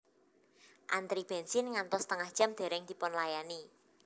Antri bensin ngantos setengah jam dereng dipunlayani